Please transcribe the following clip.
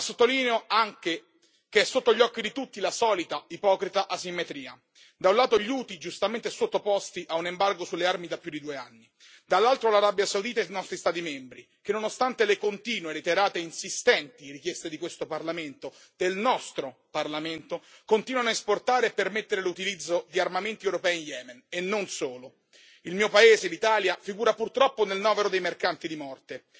Condanno fortemente il lancio del missile da parte dei ribelli Houthi, ma sottolineo anche che è sotto gli occhi di tutti la solita ipocrita asimmetria da un lato gli Houthi, giustamente sottoposti a un embargo sulle armi da più di due anni, e dall'altro l'Arabia Saudita e i nostri Stati membri che, nonostante le continue, reiterate e insistenti richieste di questo Parlamento, del nostro Parlamento, continuano a esportare e permettere l'utilizzo di armamenti europei in Yemen, e non solo.